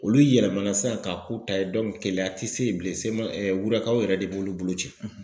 Olu yɛlɛmana sisan k'a k'u ta ye KELEYA ti se yen bilen wurukaw yɛrɛ de b'olu bolo ci .